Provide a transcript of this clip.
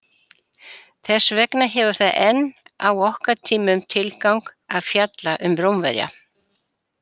Þess vegna hefur það enn á okkar tímum tilgang að fjalla um Rómverja.